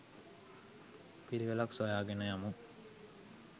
පිළිවෙලක් සොයා ගෙන යමු.